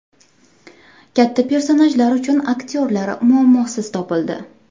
Katta personajlar uchun aktyorlar muammosiz topildi.